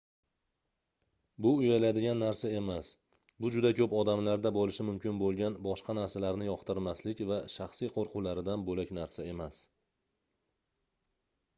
bu uyaladigan narsa emas bu juda koʻp odamlarda boʻlishi mumkin boʻlgan boshqa narsalarni yoqtirmaslik va shaxsiy qoʻrquvlaridan boʻlak narsa emas